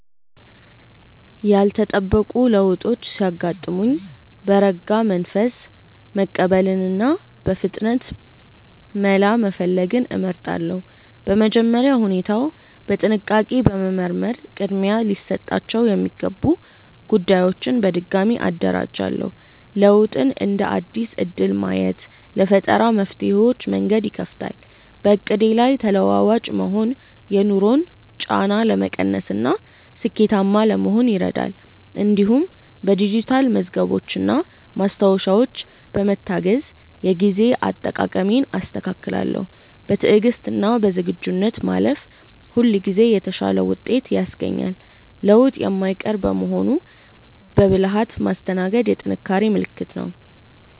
ያልተጠበቁ ለውጦች ሲያጋጥሙኝ በረጋ መንፈስ መቀበልንና በፍጥነት መላ መፈለግን እመርጣለሁ። በመጀመሪያ ሁኔታውን በጥንቃቄ በመመርመር ቅድሚያ ሊሰጣቸው የሚገቡ ጉዳዮችን በድጋሚ አደራጃለሁ። ለውጥን እንደ አዲስ እድል ማየት ለፈጠራ መፍትሄዎች መንገድ ይከፍታል። በዕቅዴ ላይ ተለዋዋጭ መሆን የኑሮን ጫና ለመቀነስና ስኬታማ ለመሆን ይረዳል። እንዲሁም በዲጂታል መዝገቦችና ማስታወሻዎች በመታገዝ የጊዜ አጠቃቀሜን አስተካክላለሁ። በትዕግስትና በዝግጁነት ማለፍ ሁልጊዜ የተሻለ ውጤት ያስገኛል። ለውጥ የማይቀር በመሆኑ በብልሃት ማስተናገድ የጥንካሬ ምልክት ነው።